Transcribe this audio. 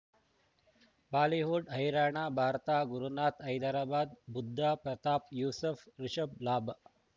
Bollywood ಹೈರಾಣ ಭಾರತ ಗುರುನಾಥ ಹೈದರಾಬಾದ್ ಬುದ್ಧ ಪ್ರತಾಪ್ ಯೂಸುಫ್ ರಿಷಬ್ ಲಾಭ